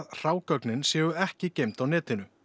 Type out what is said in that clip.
gögnin séu ekki geymd á netinu